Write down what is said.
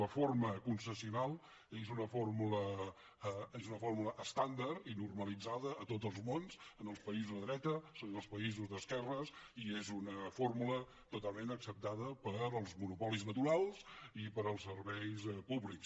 la forma concessional és una fórmula estàndard i normalitzada a tots els mons en els països de dreta en els països d’esquerres i és una fórmula totalment acceptada per als monopolis naturals i per als serveis públics